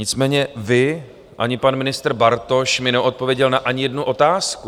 Nicméně vy ani pan ministr Bartoš mi neodpověděl ani na jednu otázku.